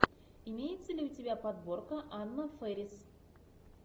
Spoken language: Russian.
имеется ли у тебя подборка анна фэрис